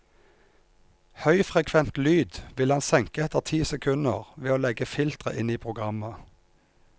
Høyfrekvent lyd vil han senke etter ti sekunder ved å legge filtre inn i programmet.